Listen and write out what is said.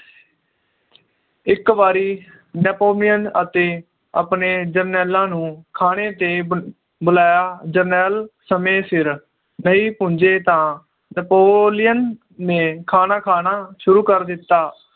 ਇੱਕ ਵਾਰੀ Napolean ਅਤੇ ਆਪਣੇ ਜਰਨੈਲਾਂ ਨੂੰ ਖਾਣੇ ਤੇ ਬੁਲ ਬੁਲਾਇਆ ਜਰਨੈਲ ਸਮੇ ਸਿਰ ਨਹੀਂ ਪਹੁੰਚੇ ਤਾਂ Napolean ਨੇ ਖਾਣਾ ਖਾਣਾ ਸ਼ੁਰੂ ਕਰ ਦਿੱਤਾ